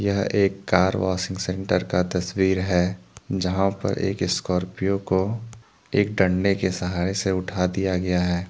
यह एक car washing centre का तस्वीर है यहां पर एक स्कॉर्पियो को एक डंडे के सहारे से उठा दिया गया है।